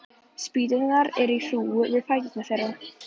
Spýturnar eru í hrúgu við fætur þeirra.